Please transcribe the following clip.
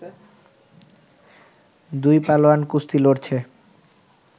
দুই পালোয়ান কুস্তি লড়ছে